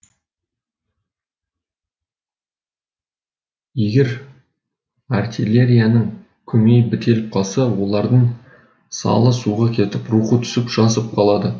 егер артиллерияның көмейі бітеліп қалса олардың салы суға кетіп рухы түсіп жасып қалады